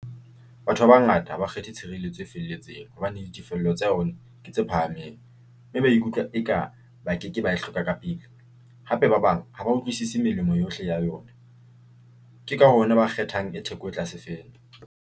Batho ba bangata ha ba kgethe tshireletso e felletseng hobane di tefello tsa yona ke tse phahameng mme ba ikutlwa eka ba keke ba e hloka ka pele. Hape ba bang ha ba utlwisisi melemo yohle ya yona, ke ka hona ba kgethang e theko e tlase fela.